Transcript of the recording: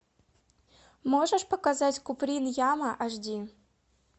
можешь показать куприн яма аш ди